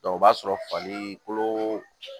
o b'a sɔrɔ fali kolo